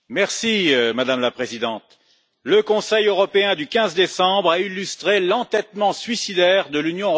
Madame la Présidente, le Conseil européen du 15 décembre a illustré l'entêtement suicidaire de l'Union européenne.